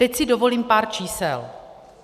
Teď si dovolím pár čísel.